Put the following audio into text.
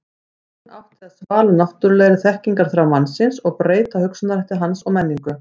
hún átti að svala náttúrulegri þekkingarþrá mannsins og breyta hugsunarhætti hans og menningu